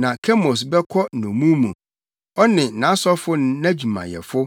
na Kemos bɛkɔ nnommum mu, ɔne nʼasɔfo ne adwumayɛfo.